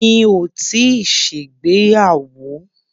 Mi ò tíì ṣègbéyàwó.